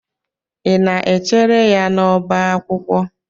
Ị na-echere ya n'ọbá akwụkwọ.